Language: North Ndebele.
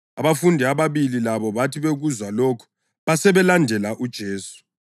Abafundi ababili labo bathi bekuzwa lokhu basebelandela uJesu.